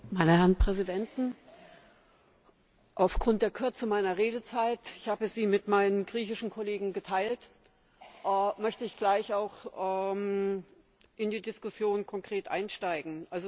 Meine Herren Präsidenten! Aufgrund der Kürze meiner Redezeit ich habe sie mit meinen griechischen Kollegen geteilt möchte ich gleich auch konkret in die Diskussion einsteigen.